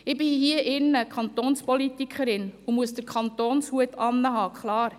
Hier bin ich Kantonspolitikerin und muss den «Kantonshut» tragen, klar.